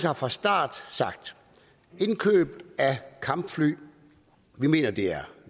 har fra starten sagt at indkøb af kampfly mener vi er